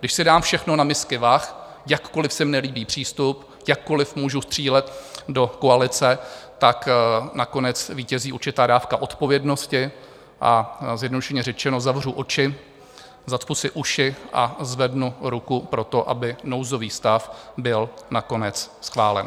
Když si dám všechno na misky vah, jakkoliv se mi nelíbí přístup, jakkoliv můžu střílet do koalice, tak nakonec zvítězí určitá dávka odpovědnosti a zjednodušeně řečeno zavřu oči, zacpu si uši a zvednu ruku pro to, aby nouzový stav byl nakonec schválen.